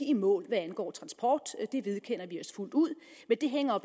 i mål hvad angår transport det vedkender vi os fuldt ud men det hænger